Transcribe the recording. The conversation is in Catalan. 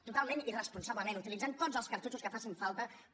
totalment irresponsablement utilitzant tots els cartutxos que facin falta per